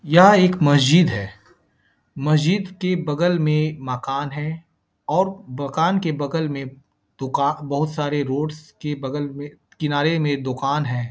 यह एक मस्जिद है। मस्जिद के बगल में मकान है और ब मकान के बगल में दुका बहुत सारे रोड्स के बगल में किनारे में दुकान है।